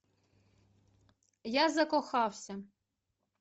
я закохався